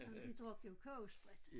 Ah men de drak jo kogesprit